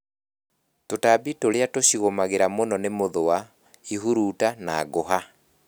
Tũtambi tũrĩa tucigũmagĩra mũno nĩ mũthũa, ihurutani na ngũha